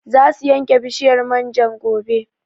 Za su yanke bishiyar man jan gobe